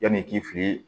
Yanni i k'i fili